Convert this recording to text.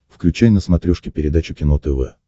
включай на смотрешке передачу кино тв